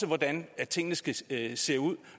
hvordan tingene skal se ud